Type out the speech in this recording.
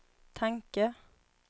tanke